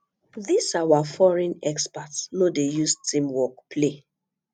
dis our foreign expert no dey use team work play